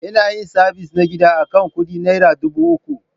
Ina yin sabis na gida akan kudi Naira dubu uku.